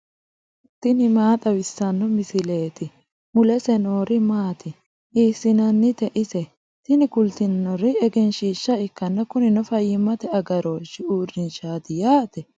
tini maa xawissanno misileeti ? mulese noori maati ? hiissinannite ise ? tini kultannori egenshiishsha ikkanna kunino fayyimmate agarooshshi uurrinshshaati yaate.